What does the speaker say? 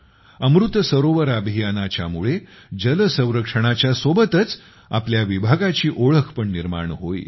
अमृत सरोवर अभियानाच्या मुळे जल संरक्षणाच्या सोबतच आपल्या विभागाची ओळख पण निर्माण होईल